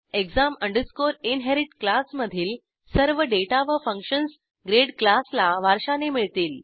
exam inherit क्लासमधील सर्व data व फंक्शन्स ग्रेड क्लासला वारशाने मिळतील